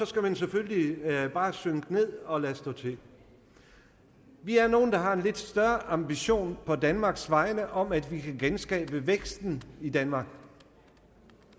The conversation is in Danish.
skal man selvfølgelig bare synke ned og lade stå til vi er nogle der har en lidt større ambition på danmarks vegne om at vi kan genskabe væksten i danmark